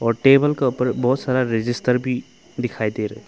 और टेबल के ऊपर बहुत सारा रजिस्टर भी दिखाई दे रहा है।